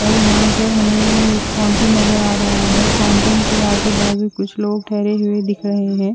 ओए यहाँ पे हमे एक फाउंटेन नजर आ रहा है फाउंटेन के आजू बाजू कुछ लोग ठहरे हुए दिख रहे है।